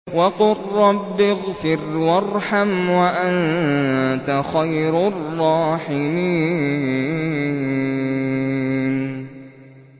وَقُل رَّبِّ اغْفِرْ وَارْحَمْ وَأَنتَ خَيْرُ الرَّاحِمِينَ